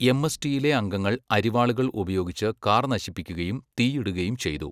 എംഎസ്ടിയിലെ അംഗങ്ങൾ അരിവാളുകൾ ഉപയോഗിച്ച് കാർ നശിപ്പിക്കുകയും തീയിടുകയും ചെയ്തു.